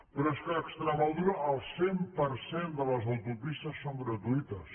però és que a extremadura el cent per cent de les autopistes són gratuïtes